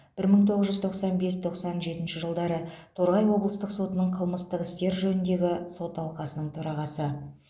бір мың тоғыз жүз тоқсан бес тоқсан жетінші жылдары торғай облыстық сотының қылмыстық істер жөніндегі сот алқасының төрағасы